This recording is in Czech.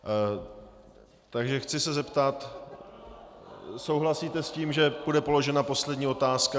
Takže chci se zeptat - souhlasíte s tím, že bude položena poslední otázka?